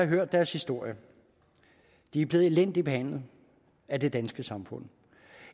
hørt deres historie de er blevet elendigt behandlet af det danske samfund